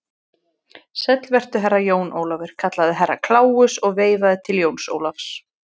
Sæll vertu, Herra Jón Ólafur, kallaði Herra Kláus og veifaði til Jóns Ólafs.